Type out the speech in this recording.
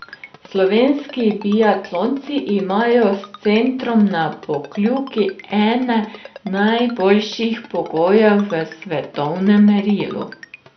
Slovenski biatlonci imajo s centrom na Pokljuki ene najboljših pogojev v svetovnem merilu.